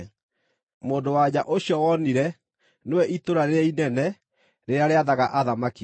Mũndũ-wa-nja ũcio wonire nĩwe itũũra rĩrĩa inene rĩrĩa rĩathaga athamaki a thĩ.”